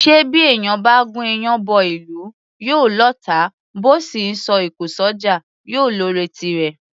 Ṣé bí èèyàn bá gún iyán bọ́ ìlú, yóò lọ́ọ̀tá; bó sì ńsọ òkò s’ọ́jà, yóò lọ́ọ̀rẹ́ tirẹ̀?